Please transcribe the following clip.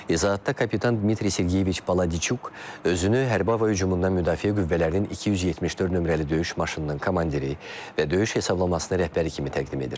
İzahatda kapitan Dmitri Sergeyeviç Baladiçuk özünü hərbi hava hücumundan müdafiə qüvvələrinin 274 nömrəli döyüş maşınının komandiri və döyüş hesablamasının rəhbəri kimi təqdim edir.